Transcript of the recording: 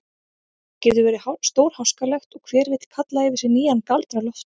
Það getur verið stórháskalegt og hver vill kalla yfir sig nýjan Galdra-Loft.